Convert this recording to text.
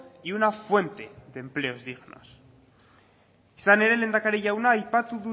y una fuente de empleos dignos izan ere lehendakari jauna aipatu